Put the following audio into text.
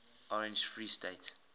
orange free state